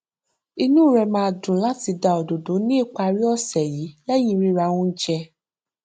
inú rẹ máa dùn láti dá òdòdó ní ìparí ọsẹ lẹyìn rírà oúnjẹ